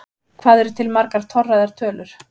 Hvað eru til margar torræðar tölur?